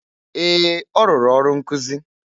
Ee! Ọ rụrụ ọrụ nkụzị.